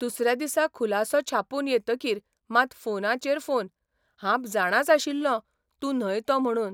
दुसऱ्या दिसा खुलासो छापून येतकीर मात फोनाचेर फोन 'हांब जाणाच आशिल्लों तूं न्हय तो म्हणून '